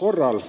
korral.